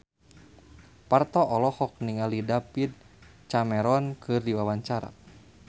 Parto olohok ningali David Cameron keur diwawancara